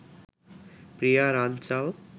Priya Ranchal